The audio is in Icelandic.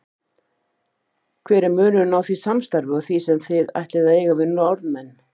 Hver er munurinn á því samstarfi og því sem þið ætlið að eiga við Norðmenn?